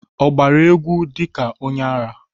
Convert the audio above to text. Ọ gbara égwú ka onyeara?